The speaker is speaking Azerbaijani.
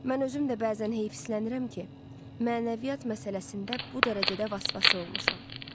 Mən özüm də bəzən heyfsilənirəm ki, mənəviyyat məsələsində bu dərəcədə vasvası olmuşam.